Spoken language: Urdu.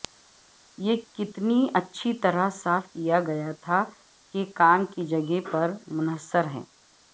یہ کتنی اچھی طرح صاف کیا گیا تھا کے کام کی جگہ پر منحصر ہے